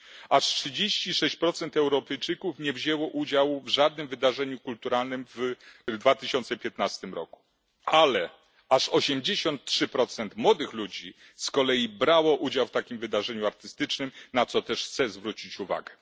Aż 36 Europejczyków nie wzięło udziału w żadnym wydarzeniu kulturalnym w 2015 roku, ale aż 83 młodych ludzi z kolei brało udział w takim wydarzeniu artystycznym, na co też chcę zwrócić uwagę.